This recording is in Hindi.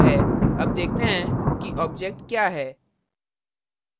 अब देखते हैं कि object क्या है